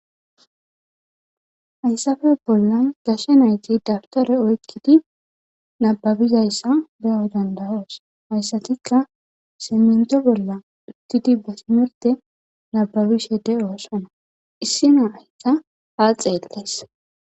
hayssafe bollan gashe nayti dabtore oykkidi nababizayssa beyo dandayoos hayssatikka simento bolla ukidi ba simerte nababishede oossana issi nahikka ha xeellees